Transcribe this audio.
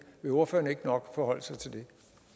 vil ordføreren ikke nok forholde sig til det